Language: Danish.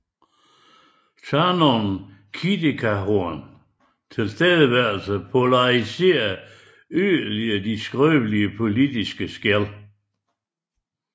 Thanom Kittikachorn tilstedeværelse polariserede yderligere de skrøbelige politiske skel